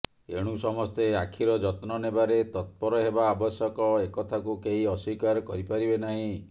ଏଣୁ ସମସ୍ତେ ଆଖିର ଯତ୍ନ ନେବାରେ ତତ୍ପର ହେବା ଆବଶ୍ୟକ ଏକଥାକୁ କେହି ଅସ୍ୱୀକାର କରି ପାରିବେ ନାହିଁ